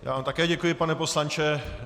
Já vám také děkuji pane poslanče.